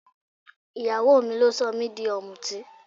Ìyàwó mi ló sọ mí di ọmútí.